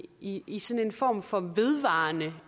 i i sådan en form for vedvarende